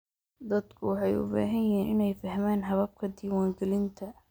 Dadku waxay u baahan yihiin inay fahmaan hababka diiwaangelinta.